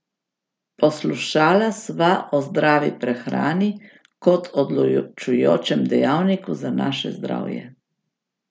Poslušala sva o zdravi prehrani kot odločujočem dejavniku za naše zdravje.